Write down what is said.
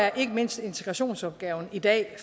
at ikke mindst integrationsopgaven i dag